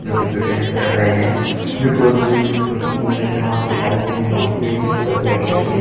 जो की फिटनेस कर रह है बिकोस ये एक छोटी जिम है जहा पर साइकिलिंग होती है जिसपर बेठ कर के --